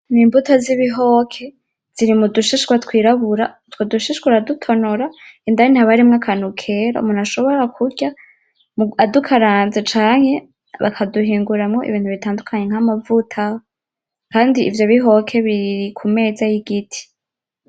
Ni imbuto z'ibihoke ziri mu dushishwa twirabura utwo dushishwa uradutonora indani haba harimwo akantu kera umuntu ashobora kurya adukaranze canke baka duhinguramwo ibintu bitandukanye nka mavuta kandi ivyo bihoke biri ku meza y'igiti.